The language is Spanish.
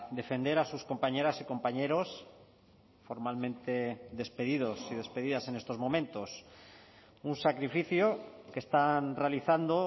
defender a sus compañeras y compañeros formalmente despedidos y despedidas en estos momentos un sacrificio que están realizando